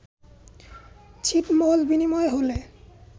ছিটমহল বিনিময় হলে